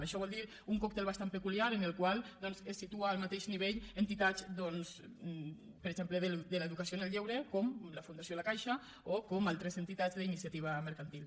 això vol dir un còctel bastant peculiar en el qual se situen al mateix nivell entitats doncs per exemple de l’educació en el lleure com la fundació la caixa o com altres entitats d’iniciativa mercantil